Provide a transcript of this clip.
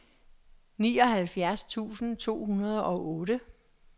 nioghalvfjerds tusind to hundrede og otte